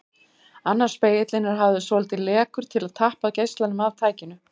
Annar spegillinn er hafður svolítið lekur til að tappa geislanum af tækinu.